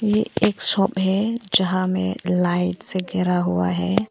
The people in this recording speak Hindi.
ये एक शॉप है जहां में लाइट से घेरा हुआ है।